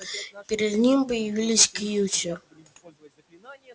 перед ним появился кьюти